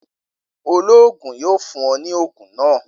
Oloogun yoo fun ọ ni oogun naa.